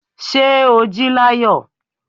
Ṣé o jí láyọ̀.